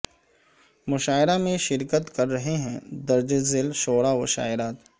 مشاعرہ میں شرکت کر رہے ہیں درج ذیل شعراء و شاعرات